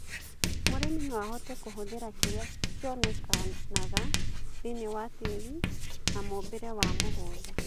Mũrĩmi noahote kũhũthĩra kĩrĩa kĩonekanaga thĩiniĩ wa tĩri na mũũmbĩre wa mũgũnda